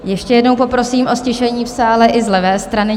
Ještě jednou poprosím o ztišení v sále i z levé strany.